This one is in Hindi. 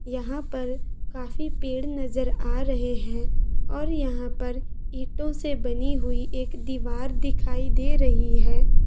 यहाँ पर काफी पेड़ नजर आ रही है और यहाँ पर ईंटो से बनी हुई दीवार दिखाई दे रही है ।